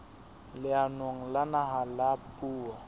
leanong la naha la puo